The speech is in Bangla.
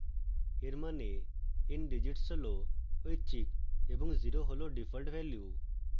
এর means ndigits হল ঐচ্ছিক এবং 0 হল ডিফল্ট value